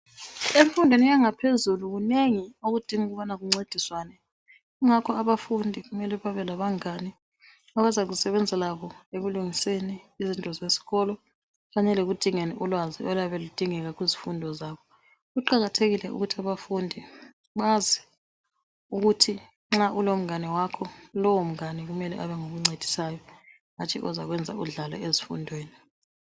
Emfundweni yaphezulu kunengi okudinga ukubana kuncediswane kungakho abafundi kumele babe labangane bazakusebenza labo ekulungiseni izinto zesikolo kanye lekudingeni ulwazi oluyabe ludingeks kuzifundo zabo kuqakathekile ukuthi abafundi ukuthi nxa ulomngane wakho lowo mngane mele abe ngokuncedisayo hatshi ozakwenza udlale ezifundweni.